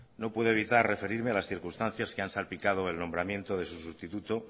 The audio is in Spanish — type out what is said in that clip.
no puedo evitar referirme a las circunstancias que han salpicado el nombramiento de su sustituto